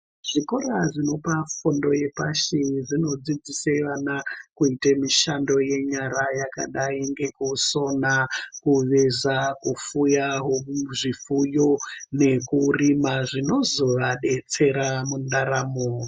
Zvikora zvinopa fundo yapashi zvinodzidzise vana kuite mishando yenyara yakadai ngekusona kuveza kufuyawo zvifuyo nekurima zvinozovabetsera mundaramo.